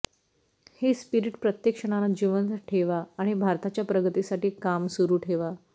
हे स्पिरिट प्रत्येक क्षणाला जिवंत ठेवा आणि भारताच्या प्रगतीसाठी काम सुरु ठेवा